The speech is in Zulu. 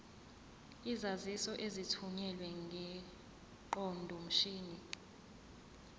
izaziso ezithunyelwe ngeqondomshini